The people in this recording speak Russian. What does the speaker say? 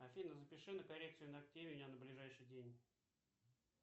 афина запиши на коррекцию ногтей меня на ближайший день